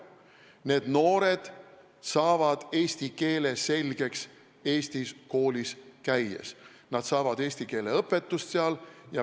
Need noored saavad eesti keele selgeks Eestis koolis käies, nad saavad seal eesti keele õpetust.